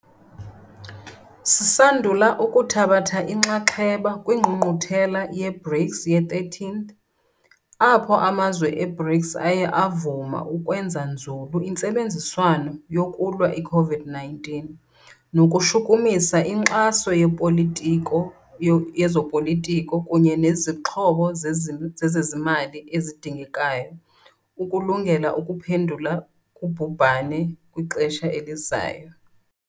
Sisandula ukuthabatha inxaxheba kwiNgqungquthela ye-BRICS ye-13, apho amazwe e-BRICS aye avuma ukwenza nzulu intsebenziswano yokulwa i-COVID-19 nokushukumisa inkxaso yezopolitiko kunye nezixhobo zezezimali ezidingekayo ukulungela ukuphendula kubhubhane kwixesha elizayo.